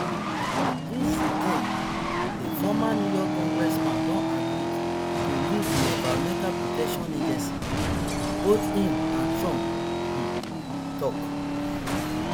lee zeldin a former new york congressman don agree to lead di environmental protection agency both im and trump um tok